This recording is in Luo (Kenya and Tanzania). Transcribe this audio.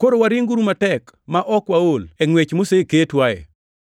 koro waringuru matek ma ok waol e ngʼwech moseketwae.